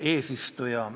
Hea eesistuja!